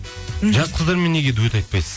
мхм жас қыздармен неге дуэт айтпайсыз